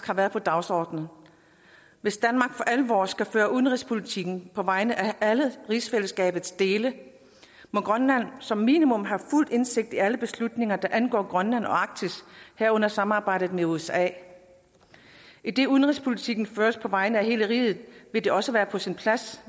har været på dagsordenen hvis danmark for alvor skal føre udenrigspolitikken på vegne af alle rigsfællesskabets dele må grønland som minimum have fuld indsigt i alle beslutninger der angår grønland og arktis herunder samarbejdet med usa idet udenrigspolitikken føres på vegne af hele riget vil det også være på sin plads